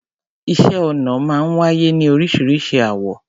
Iṣẹ́ ọnà máa ń wáyé ní orísiríṣi àwọ̀.